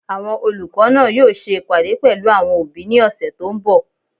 Àwọn olùkọ́ náà yóò ṣe ìpàdé pẹ̀lú àwọn òbí ní ọ̀sẹ̀ tó n bọ̀